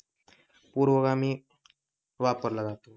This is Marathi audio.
पुरोगामी वापरला जातो.